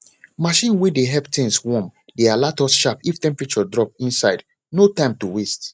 machine way dey help things warm dey alert us sharp if temperature drop inside no time to waste